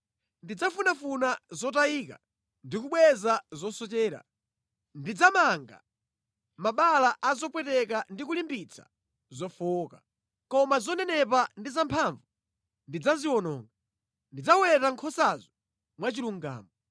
Ndidzafunafuna zotayika ndi kubweza zosochera. Ndidzamanga mabala a zopweteka ndi kulimbikitsa zofowoka. Koma zonenepa ndi zamphamvu ndidzaziwononga. Ndidzaweta nkhosazo mwachilungamo.